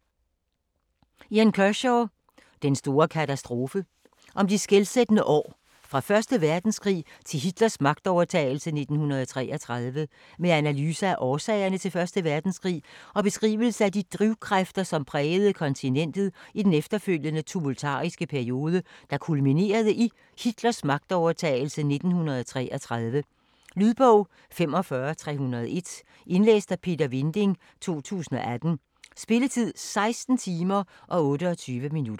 Kershaw, Ian: Den store katastrofe Om de skelsættende år fra 1. verdenskrig til Hitlers magtovertagelse i 1933. Med analyse af årsagerne til 1. verdenskrig, og beskrivelse af de drivkræfter, som prægede kontinentet i den efterfølgende tumultariske periode, der kulminerede i Hitlers magtovertagelse i 1933. Lydbog 45301 Indlæst af Peter Vinding, 2018. Spilletid: 16 timer, 28 minutter.